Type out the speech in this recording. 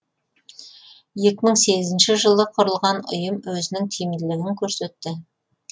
екі мың сегізінші жылы құрылған ұйым өзінің тиімділігін көрсетті